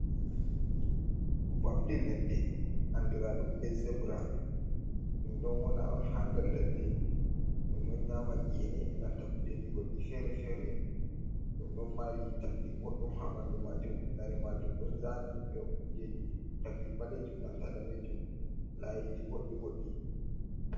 Ɓamde ladde, anduraɗum be zebra, ɗum ɗon wona on ha nder ladde ɗum ɗon nyama gene nanta kujeji goddi fere-fere, ɗum ɗon mari tagdi boɗɗum habandu majum, lare majum don zani be kujeji taggi balejum nanta danejum layiji bɗɗi boɗɗi.